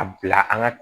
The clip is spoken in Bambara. A bila an ka